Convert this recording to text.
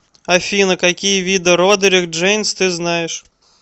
афина какие виды родерик джейнс ты знаешь